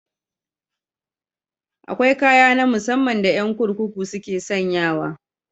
Akwai kaya na musamman da yan kurkuku suke sanyawa.